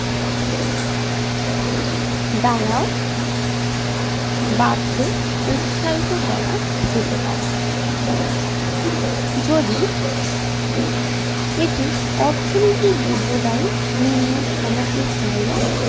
ধারাও বাড়তে উৎসাহিত করা যেতে পারে যদি এটি অর্থনীতি দীর্ঘদায়ী নিম্ন সামগ্রিক চাহিদা